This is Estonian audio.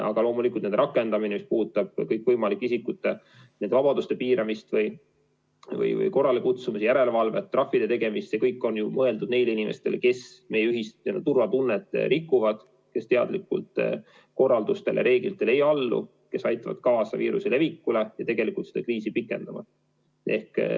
Ja nende rakendamine, mis puudutab kõikvõimalikku isikute vabaduste piiramist või korralekutsumist, järelevalvet, trahvide tegemist – see kõik on ju mõeldud neile inimestele, kes meie ühist turvatunnet rikuvad, kes teadlikult korraldustele, reeglitele ei allu, kes aitavad kaasa viiruse levikule ja tegelikult seda kriisi pikendavad.